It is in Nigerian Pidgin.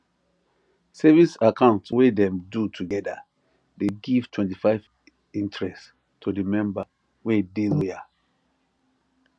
savings account wey dem de together de give 25 interest to the member wey de loyal